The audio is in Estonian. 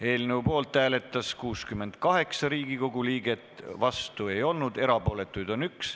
Hääletustulemused Poolt hääletas 68 Riigikogu liiget, vastu ei olnud keegi, erapooletuid oli 1.